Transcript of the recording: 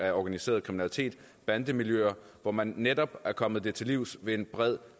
af organiseret kriminalitet og bandemiljøet hvor man netop er kommet det til livs ved en bred